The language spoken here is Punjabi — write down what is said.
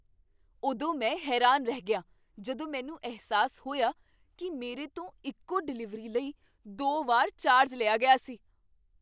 ਉਦੋਂ ਮੈਂ ਹੈਰਾਨ ਰਹਿ ਗਿਆ ਜਦੋਂ ਮੈਨੂੰ ਅਹਿਸਾਸ ਹੋਇਆ ਕੀ ਮੇਰੇ ਤੋਂ ਇੱਕੋ ਡਿਲੀਵਰੀ ਲਈ ਦੋ ਵਾਰ ਚਾਰਜ ਲਿਆ ਗਿਆ ਸੀ!